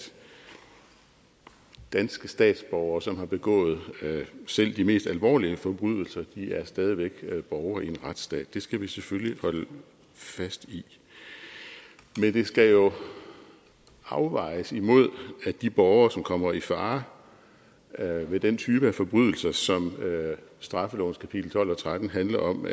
danske statsborgere som har begået selv de mest alvorlige forbrydelser stadig væk er borgere i en retsstat det skal vi selvfølgelig holde fast i men det skal jo afvejes imod at de borgere som kommer i fare ved den type af forbrydelser som straffelovens kapitel tolv og tretten handler om